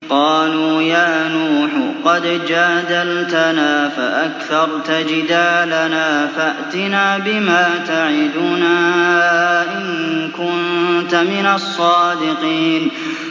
قَالُوا يَا نُوحُ قَدْ جَادَلْتَنَا فَأَكْثَرْتَ جِدَالَنَا فَأْتِنَا بِمَا تَعِدُنَا إِن كُنتَ مِنَ الصَّادِقِينَ